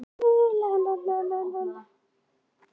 Svífa eftir götunum.